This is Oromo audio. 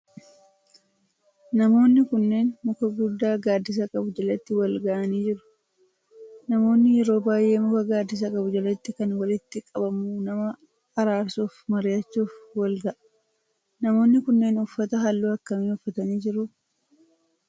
Namoonni kunneen muka guddaa gaaddisa qabu jalatti wal gahaanii jiru. namoonni yeroo baayyee muka gaaddisa qabu jalatti kan walitti qabamu nama araarsuu fi mari'achuf wal gaha. namoonni kunneen uffata halluu akkamii uffatanii jiru?